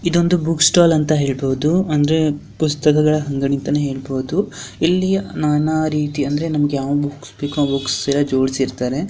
ಇದೊಂದು book stall ಅಂತ ಹೇಳ್ಬಹುದು ಅಂದ್ರೆ ಪುಸ್ತಕಗಳ ಅಂಗಡಿ ಅಂತಾನೆ ಹೇಳ್ಬಹುದು ಇಲ್ಲಿ ನಾನಾ ರೀತಿ ಅಂದ್ರೆ ನಮ್ಗೆ ಯಾವ ಬುಕ್ಸ್ ಬೇಕೊ ಆ ಬುಕ್ಸ್ ಎಲ್ಲ ಜೋಡಿಸಿರ್ತಾರೆ.